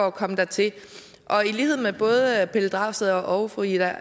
at komme dertil og i lighed med både herre pelle dragsted og fru ida